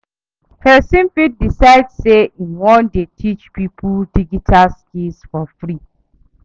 Persin fit decide say im won de teach pipo digital skills for free